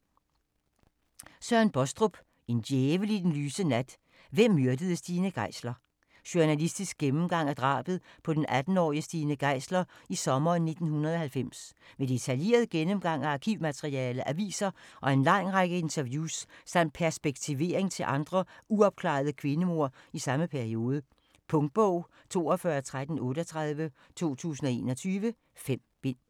Baastrup, Søren: En djævel i den lyse nat: hvem myrdede Stine Geisler? Journalistisk gennemgang af drabet på den 18-årige Stine Geisler i sommeren 1990. Med detaljeret gennemgang af arkivmateriale, aviser og en lang række interviews, samt perspektivering til andre uopklarede kvindemord i samme periode. Punktbog 421338 2021. 5 bind.